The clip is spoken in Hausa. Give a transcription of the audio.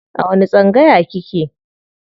A wani tsangaya kike?